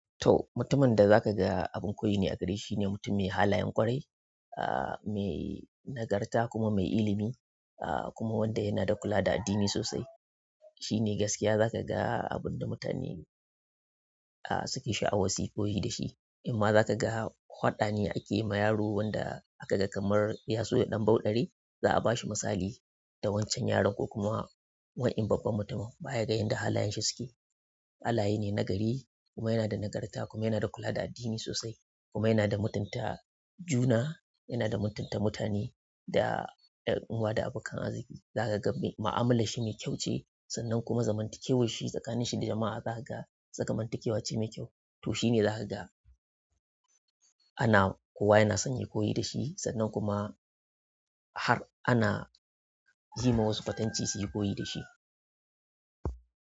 To, mutumin da za ka ga abin koyi ne a gare shi ne mutum mai halayen ƙwarai, ah, mai nagarta kuma mai ilimi, ah, kuma wanda yana da kula da addini sosai. Shi ne gaskiya za ga abun da mutane, ah, suke sha'awar suyi koyi da shi. In ma za ka ga faɗane ake ma yaro wanda aka ga kamar ya so ya ɗan ɓauddare, za a ba shi misali da wancan yaron ko kuma wani babban mutum bayan ganin yanda halayen shi suke. Halayene nagari kuma yana da nagarta kuma yana da kula da addini sosai kuma yana da mutunta juna, yana da mutunta mutane da ƴan uwa da abokan arziki. Za ka ga mu'amala shi mai kyau ce sannan kuma zamantakewar shi tsakanin shi da jama'a za kaga zamantakewa ce mai kyau. To shi ne za ka ga ana kowa yana son yayi koyi da shi sannan kuma har ana yima wasu kwatance suyi koyi da shi.